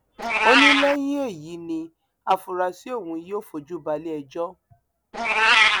ó ní lẹyìn èyí ni àfúráṣí ọhún yóò fojú ba iléẹjọ